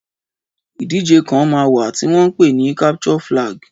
Ìdíje kan máa wà tí wọ́n ń pè ní capture flag.